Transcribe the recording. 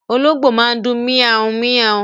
Olóngbó máa ń dùn mia-un-mia-un